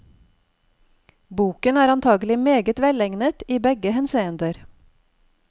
Boken er antagelig meget velegnet i begge henseender.